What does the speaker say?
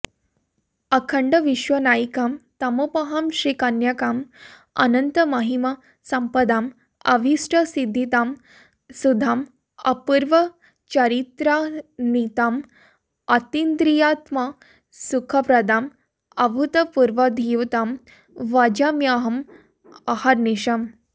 अखण्डविश्वनायिकां तमोपहां श्रीकन्यकां अनन्तमहिमसम्पदां अभीष्टसिद्दिदां सुधां अपूर्वचारित्रान्वितां अतीन्द्रियात्मसुखप्रदां अभूतपूर्वधीयुतां भजाम्यहं अहर्निशम्